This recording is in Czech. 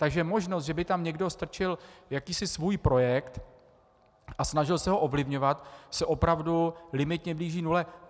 Takže možnost, že by tam někdo strčil jakýsi svůj projekt a snažil se ho ovlivňovat, se opravdu limitně blíží nule.